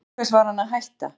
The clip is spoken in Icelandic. Til hvers var hann að hætta?